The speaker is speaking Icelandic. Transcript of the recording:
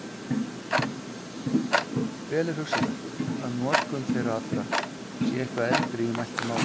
Vel er hugsanlegt að notkun þeirra allra sé eitthvað eldri í mæltu máli.